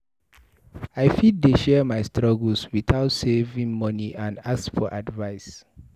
I fit share my struggles with saving money and ask for advice.